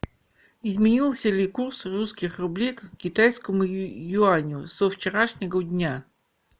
изменился ли курс русских рублей к китайскому юаню со вчерашнего дня